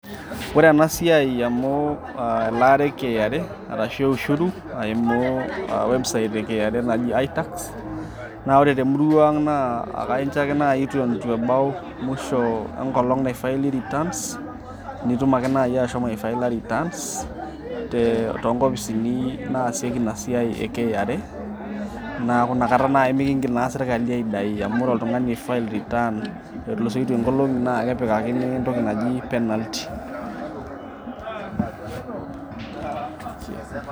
ore ena siai amu elaare e KRA arashu ushuru aimu website e KRA naji i-tax naa ore temurua ang naa akainjo ake naaji iton itu ebau musho enkolong naifaili returns nitum ake naaji ashomo aefaila returns te tonkopisini naasieki ina siai e KRA naaku inakata naaji mikingil naa sirkali aidai amu ore oltung'ani oi file return etulusoitie nkolong'i naa kepikakini entoki naji penalty.